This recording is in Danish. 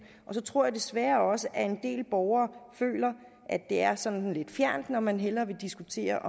og så tror jeg desværre også at en del borgere føler at det er sådan lidt fjernt og at man hellere vil diskutere